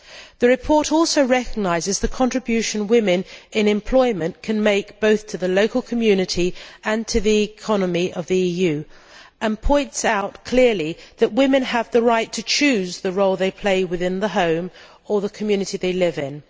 The report also recognises the contribution women in employment can make both to the local community and to the economy of the EU, and points out clearly that women have the right to choose the role they play within the home or the community they live in.